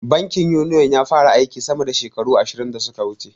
Bankin Uniyon ya fara aiki sama da shekaru ashirin da suka wuce.